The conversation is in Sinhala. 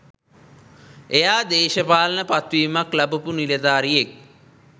එයා දේශපාලන පත්වීමක් ලබපු නිලධාරියෙක්.